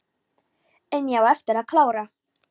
En ég á eftir að klára.